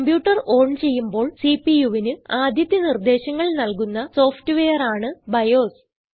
computer on ചെയ്യുമ്പോൾ CPUവിന് ആദ്യത്തെ നിർദേശങ്ങൾ നല്കുന്ന സോഫ്റ്റ് വെയർ ആണ് ബയോസ്